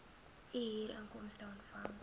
u huurinkomste ontvang